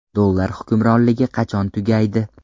Dollar hukmronligi qachon tugaydi?